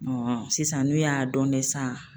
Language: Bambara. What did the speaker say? sisan n'u y'a dɔn de sa